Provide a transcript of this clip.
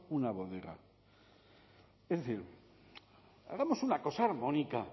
una bodega es decir hagamos una cosa armónica